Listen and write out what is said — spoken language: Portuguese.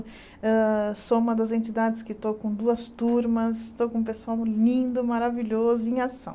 Sou uma das entidades que estou com duas turmas, estou com um pessoal lindo, maravilhoso, em ação.